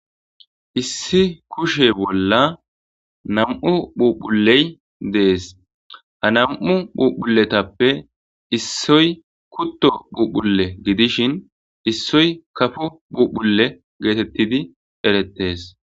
Issi kushe bolla nam'u phuphulley dees ha nam'u phuphulletappe issoy kutto phuphulle gidishin issoy kafo phuphulle geetettidi erettees.